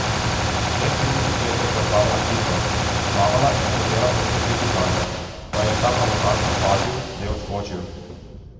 Teh trideset metrov je preplavala hitro, izplavala in hotela poškropiti Blaža, pa jo je ta pravočasno opazil, da je odskočil.